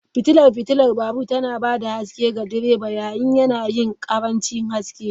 Fitilar fitilar babur tana ba da haske ga direba yayin yanayin ƙarancin haske.